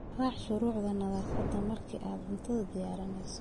Raac shuruucda nadaafadda marka aad cunto diyaarinayso.